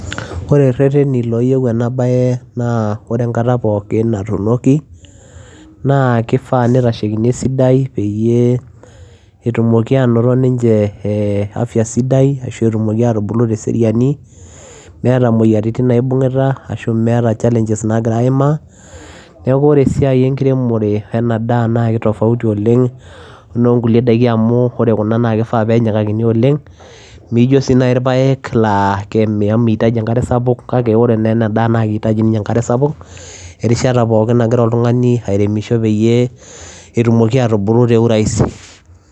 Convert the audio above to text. Oree irereteni ooyieu ena baye naa oree enkata pookin natunokii naa kifaa nitashekii esidai peyiee etum afya sidai peyiee ebulu teseriani metaa imoyiaritin naibungita neeku oree esiai enkiremoree ena daa naa ki tofauti miijo irpayek naa miitaji enkare sapuk